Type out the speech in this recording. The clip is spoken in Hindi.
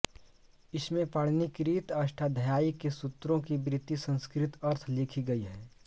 इसमें पाणिनिकृत अष्टाध्यायी के सूत्रों की वृत्ति संस्कृत अर्थ लिखी गयी है